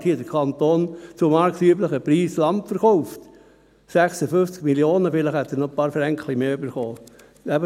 Dort hat der Kanton zu marktüblichen Preisen Land verkauft: 56 Mio. Franken, vielleicht hat er noch ein paar Franken mehr erhalten.